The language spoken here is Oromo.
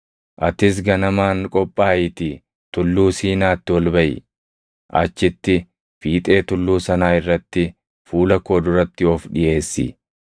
Atis ganamaan qophaayiitii Tulluu Siinaatti ol baʼi. Achitti, fiixee tulluu sanaa irratti fuula koo duratti of dhiʼeessi.